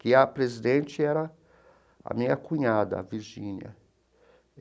que a presidente era a minha cunhada, a Virgínia.